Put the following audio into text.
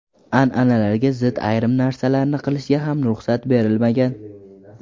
An’analarga zid ayrim narsalarni qilishga ham ruxsat berilgan.